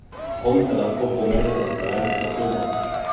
S kom se lahko pomerita slovenskega kluba?